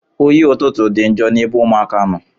Oyi ọtụtụ dị njọ n'ebe ụmụaka nọ.